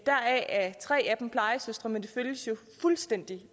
deraf er tre af dem plejesøstre men de føles jo fuldstændig